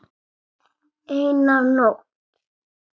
Eina nótt.